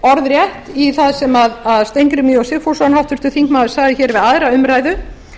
orðrétt í það sem steingrímur j sigfússon háttvirtan þingmann sagði hér við aðra umræðu